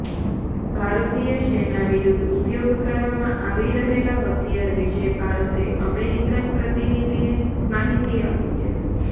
ભારતીય સેના વિરુદ્ધ ઉપયોગ કરવામાં આવી રહેલા હથિયાર વિશે ભારતે અમેરિકન પ્રતિનિધિને માહિતી આપી છે